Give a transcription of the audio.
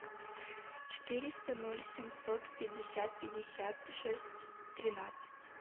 четыреста ноль семьсот пятьдесят пятьдесят шесть тринадцать